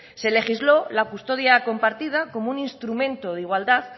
se legisló la custodia compartida como un instrumento de igualdad